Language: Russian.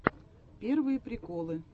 первые приколы